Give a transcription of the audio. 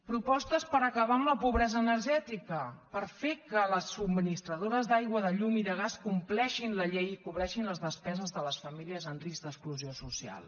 propostes per acabar amb la pobresa energètica per fer que les subministradores d’aigua de llum i de gas compleixin la llei i cobreixin les despeses de les famílies en risc d’exclusió social